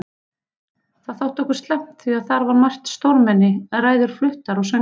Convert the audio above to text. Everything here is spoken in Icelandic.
Það þótti okkur slæmt því að þar var margt stórmenni, ræður fluttar og söngvar.